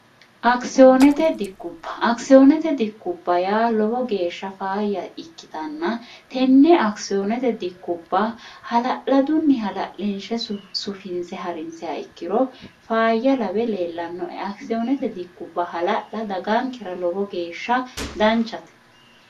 kiiot diubakisiyoonete dikkubba ya lowo geeshsha faayya ikkitanna tenne akisiyoonete dikkubba hala'ladunni hala'linshe sufinse ha'rinseha ikkiro faayya labe leellannoe akisiyoonete dikubba hala'la dagankira lowo geeshsha danchate